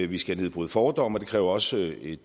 vi skal nedbryde fordomme og det kræver også et